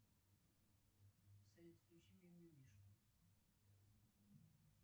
салют включи мимимишки